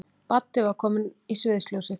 Baddi var kominn í sviðsljósið.